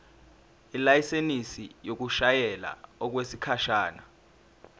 ilayisensi yokushayela okwesikhashana